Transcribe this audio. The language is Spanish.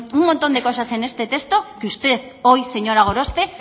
un montón de cosas en este texto que usted hoy señora gorospe